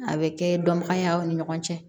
A bɛ kɛ dɔnbagaya ye aw ni ɲɔgɔn cɛ